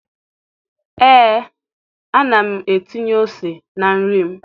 ee ana m etinye ose na nri m.